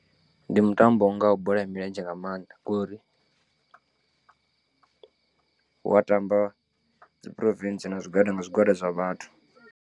Ndi mutambo u ngaho bola ya milenzhe nga maanḓa ngori, wa tamba dzi province na zwigwada nga zwigwada zwa vhathu.